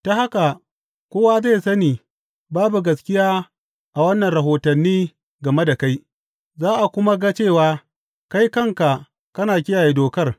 Ta haka kowa zai sani babu gaskiya a waɗannan rahotanni game da kai, za a kuma ga cewa kai kanka kana kiyaye dokar.